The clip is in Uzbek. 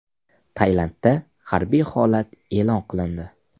Tailandda harbiy holat e’lon qilindi.